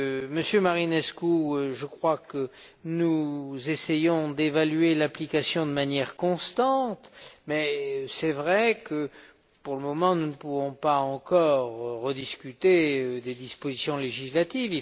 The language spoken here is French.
M. Marinescu, je crois que nous essayons d'évaluer l'application de manière constante, mais il est vrai que, pour le moment, nous ne pouvons pas encore rediscuter des dispositions législatives.